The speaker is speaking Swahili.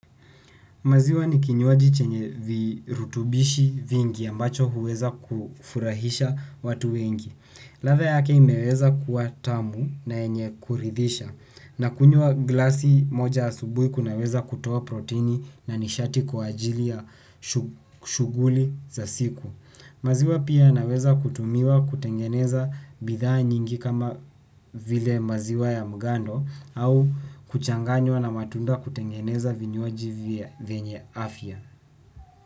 Maziwa ni kinywaji chenye virutubishi vingi ambacho huweza kufurahisha watu wengi. Ladha yake imeweza kuwa tamu na yenye kuridhisha nakunywa glasi moja asubuhi kunaweza kutoa protini na nishati kwa ajili ya shughuli za siku. Maziwa pia inaweza kutumiwa kutengeneza bidhaa nyingi kama vile maziwa ya mgando au kuchanganywa na matunda kutengeneza vinywaji vyenye afya.